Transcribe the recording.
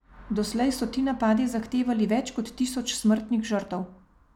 Doslej so ti napadi zahtevali več kot tisoč smrtnih žrtev.